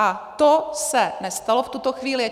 A to se nestalo v tuto chvíli.